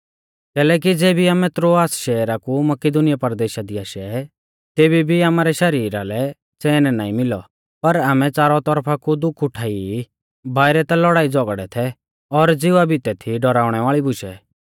कैलैकि ज़ेबी आमै त्रोआस शैहरा कु मकिदुनीया परदेशा दी आशै तेबी भी आमारै शरीरा लै च़ैन नाईं मिलौ पर आमै च़ारौ तौरफा कु दुःख उठाई ई बाइरै ता लौड़ाईझ़ौगड़ै थै और ज़िवा भितै थी डौराउणै वाल़ी बुशै